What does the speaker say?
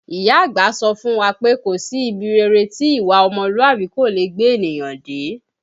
Ìyá àgbà sọ fún wa pé kò sí ibi rere tí ìwà ọmọlúàbí kò leè gbé ènìyàn dé